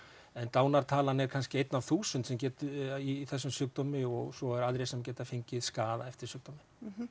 dánartalan er kannski einn af þúsund sem getur eða í þessum sjúkdómi og svo eru aðrir sem geta fengið skaða eftir sjúkdóminn